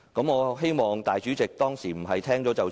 我希望主席不是聽了便算。